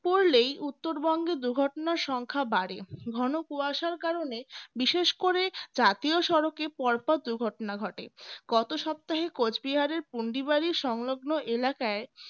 শীত পড়লেই উত্তরবঙ্গে দুর্ঘটনার সংখ্যা বাড়ে ঘন কুশায়ার কারণে বিশেষ করে জাতীয় সড়কে পরপর দুর্ঘটনা ঘটে গত সপ্তাহে কোচবিহারের পুন্ডিবাড়ি সংলগ্ন এলাকায়